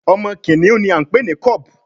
Omo kìnìún ní a npè ní cub